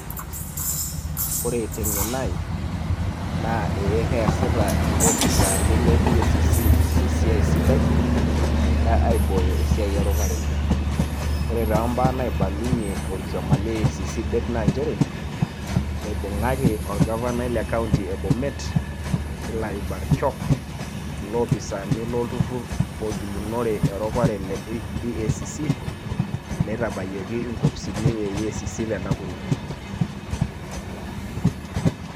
Ore teng'eno ai, naa ee keasita ilopisaani le EACC esiai sidai, egira aibooyo esiai eropare. Ore tombaa naibalunye orkioma le EACC det na njere, eibung'aki orgavanai le kaunti e Bomet, Hillary Barchok, ilopisaani loturrur logilunore eropare le EACC, neitabayioki inkopisini e EACC te Nakuru.